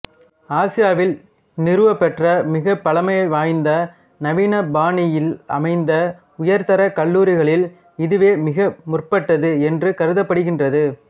ஆசியாவில் நிறுவப்பெற்ற மிகப் பழைமைவாய்ந்த நவீனபாணியிலமைந்த உயர்தரக் கல்லூரிகளில் இதுவே மிக முற்பட்டது என்று கருதப்படுகின்றது